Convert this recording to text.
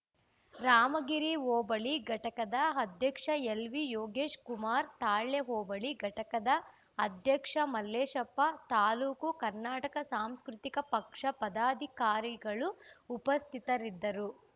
ರಾಮಗಿರಿ ಹೋಬಳಿ ಘಟಕದ ಅಧ್ಯಕ್ಷ ಎಲ್‌ವಿ ಯೋಗೀಶ್‌ ಕುಮಾರ್‌ ತಾಳ್ಯ ಹೋಬಳಿ ಘಟಕದ ಅಧ್ಯಕ್ಷ ಮಲ್ಲೇಶಪ್ಪ ತಾಲೂಕು ಕನ್ನಡ ಸಾಂಸ್ಕೃತಿಕ ಪಕ್ಷ ಪದಾಧಿಕಾರಿಗಳು ಉಪಸ್ಥಿತರಿದ್ದರು